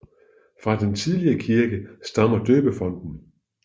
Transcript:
Fra den tidligere kirke stammer døbefonten